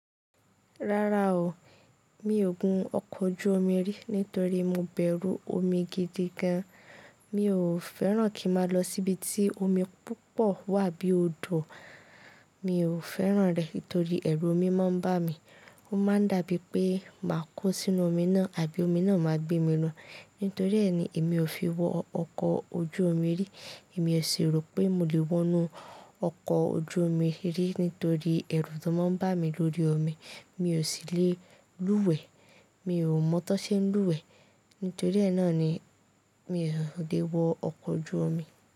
Rárá o, mi ò gun ọkọ̀ ojú omi rí, nítorí mo bẹ̀rù omi gidi gan. Mi ò fẹ́ràn kí mà lọ síbi tí omi púpọ̀ wà bí i odò. Mi ò fẹ́ràn rẹ̀ nítorí ẹrù omi máa ń bá mi. Ó máa ń dà bí i pé mà kó sínú omi náà àbí omi náà máa gbé mi lọ. Nítorí ẹ ni èmi ò fi wọ ọkọ ojú omi rí. Èmi ò ṣi rò pé mo lè wọ inú ọkọ̀ ojú omi rí nítorí ẹrù tó máa ń bá mi lórí omi. Mi ò sì le lúwẹ̀ẹ́. Mi ò mọ́ tó ṣe ń lúwẹ̀ẹ́. Nítorí ẹ náà ni mi ò lè wọ ọkọ̀ ojú omi.